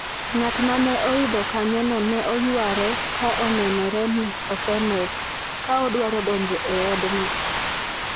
Ng'at ma ne oidho kanyono ne oyware ka onenore ni osemer, ka odwaro donjo e odno.